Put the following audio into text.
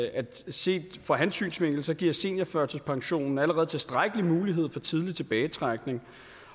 set fra hans synsvinkel giver seniorførtidspensionen allerede tilstrækkelig mulighed for tidlig tilbagetrækning